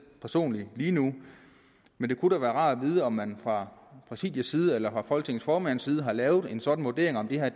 personligt lige nu men det kunne da være rart at vide om man fra præsidiets side eller folketingets formands side har lavet en sådan vurdering af om det her